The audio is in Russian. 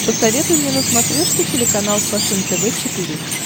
посоветуй мне на смотрешке телеканал фэшен тв четыре к